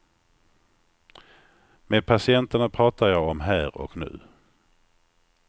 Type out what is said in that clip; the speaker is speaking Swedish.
Med patienterna pratar jag om här och nu.